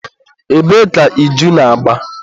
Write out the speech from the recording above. ebee ka iju na-agba?